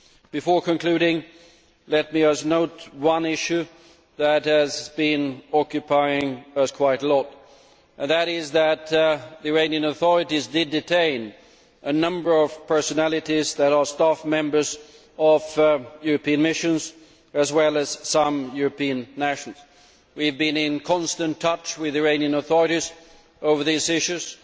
Before concluding, let me just note one issue that has been occupying us quite a lot, and that is that the Iranian authorities did detain a number of personalities who are staff members of European missions, as well as some European nationals. We have been in constant touch with the Iranian authorities over these issues.